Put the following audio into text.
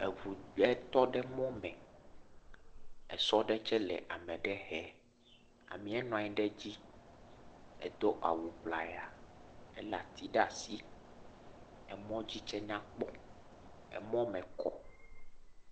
Eŋu ɖe tɔ ɖe mɔ me, esɔ ɖe tsɛ le ame ɖe he, amee nɔ anyi ɖe dzi, edo awu ŋlaya, elé ati ɖe asi, emɔdzi tsɛ nyakpɔ, emɔ mɔ kɔ.